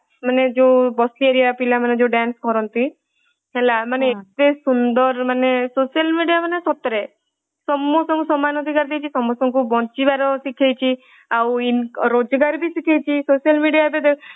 ମାନେ ଯୋଉ ବସ୍ତି ଏରିୟା ପିଲାମାନେ ଯୋଉ dance କରନ୍ତି ମାନେ ଏତେ ସୁନ୍ଦର ମାନେ social media ମାନେ ସତରେ ସମସ୍ତଙ୍କୁ ସମାନ ଅଧିକାର ଦେଇଛି ସମସ୍ତଙ୍କୁ ବଞ୍ଚିବାର ଅଧିକାର ଦେଇଛି। ଆଉ ରୋଜଗାର ବି ଶିଖେଇଛି। social media ଏବେ